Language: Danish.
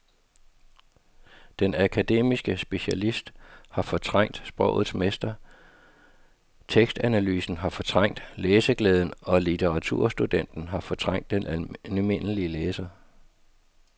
Den akademiske specialist har fortrængt sprogets mester, tekstanalysen har fortrængt læseglæden og litteraturstudenten har fortrængt den almindelige læser.